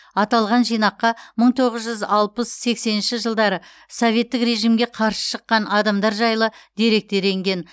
аталған жинаққа мың тоғыз жүз алпыс сексенінші жылдары советтік режимге қарсы шыққан адамдар жайлы деректер енген